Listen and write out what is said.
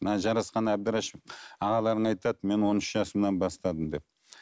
мына жарасқан әбдірашев ағаларың айтады мен он үш жасымнан бастадым деп